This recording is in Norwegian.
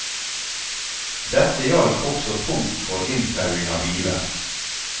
Dette gjaldt også tomt for inntauing av biler.